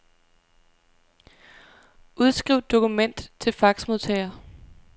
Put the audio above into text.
Udskriv dokument til faxmodtager.